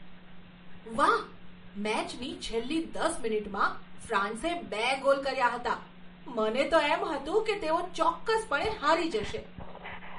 વાહ! મેચની છેલ્લી દસ મિનિટમાં ફ્રાન્સે બે ગોલ કર્યા હતા. મને તો એમ હતું કે તેઓ ચોક્કસપણે હારી જશે.